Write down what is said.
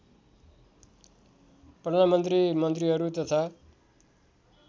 प्रधानमन्त्री मन्त्रीहरू तथा